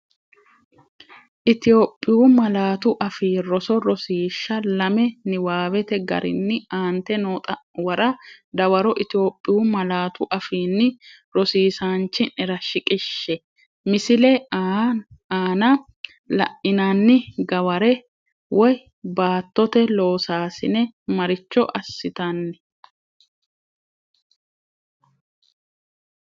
Itophiyu Malaatu Afii Roso Rosiishsha Lame Niwaawete garinni aante noo xa’muwara dawaro Itophiyu malaatu afiinni rosiisaanchi’nera shiqishshe, Misile aana la’inanni gaware(baattote loosaasine) maricho assitan?